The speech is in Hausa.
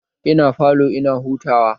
Ina falo ina hutawa